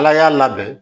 Ala y'a labɛn